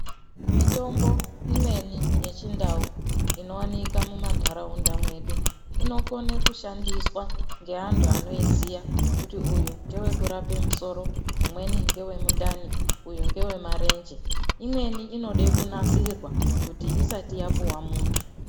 Mitombo imweni yechindau inowanika mumandaraunda mwedu, inokone kushandiswa ngeantu anoyiziya kuti uyu ndewekurape musoro, umweni ngewemundani, uyu ngewemarenje, imweni inode kunasirwa kuti isati yapuwa muntu.